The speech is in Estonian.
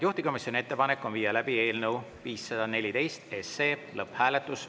Juhtivkomisjoni ettepanek on viia läbi eelnõu 514 lõpphääletus.